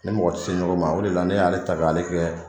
Ni mɔgɔ tɛ se ɲɔgɔn ma o de la ne y'ale ta k'ale kɛ